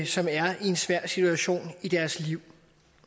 som er i en svær situation i deres liv